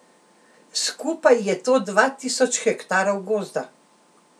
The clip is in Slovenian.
Skupaj je to dva tisoč hektarov gozda.